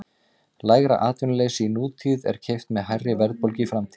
Lægra atvinnuleysi í nútíð er keypt með hærri verðbólgu í framtíð.